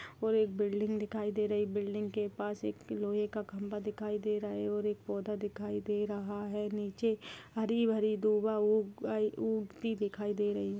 और एक बिल्डिंग दिखाई दे रही है बिल्डिंग के पास एक लोहे का खम्भा दिखाई दे रहा है और एक पौधा दिखाई दे रहा है नीचे हरी भरी दूबा उगाई उगती दिखाई दे रही है।